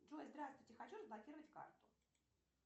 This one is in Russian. джой здравствуйте хочу разблокировать карту